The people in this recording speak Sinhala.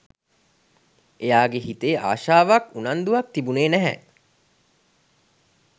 එයාගේ හිතේ ආශාවක් උනන්දුවක් තිබුණේ නැහැ